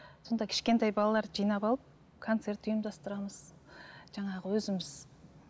сонда кішкентай балаларды жинап алып концерт ұйымдастырамыз жаңағы өзіміз